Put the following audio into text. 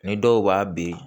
Ni dɔw b'a bin